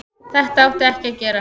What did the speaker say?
Þetta átti ekki að gerast.